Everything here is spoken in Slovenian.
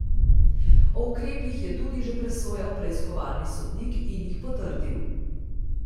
O ukrepih je tudi že presojal preiskovalni sodnik in jih potrdil.